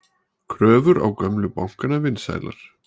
Kröfur á gömlu bankana vinsælar